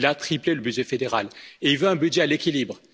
Il a triplé le budget fédéral et voulait un budget à l'équilibre.